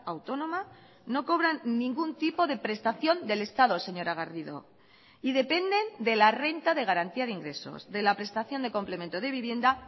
autónoma no cobran ningún tipo de prestación del estado señora garrido y dependen de la renta de garantía de ingresos de la prestación de complemento de vivienda